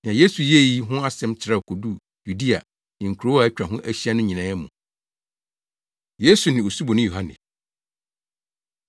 Nea Yesu yɛɛ yi ho asɛm trɛw koduu Yudea ne nkurow a atwa ho ahyia no nyinaa mu. Yesu Ne Osuboni Yohane